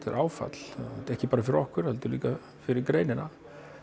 er áfall ekki bara fyrir okkur heldur líka fyrir greinina